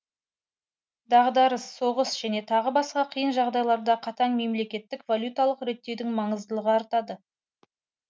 дағдарыс соғыс және тағы басқа қиын жағдайларда қатаң мемлекетгік валюталық реттеудің маңыздылығы артады